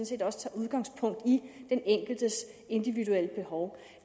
set også tager udgangspunkt i den enkeltes individuelle behov